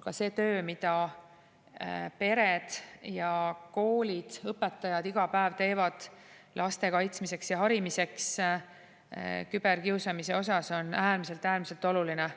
aga see töö, mida pered ja koolid, õpetajad iga päev teevad laste kaitsmiseks ja harimiseks küberkiusamise osas, on äärmiselt-äärmiselt oluline.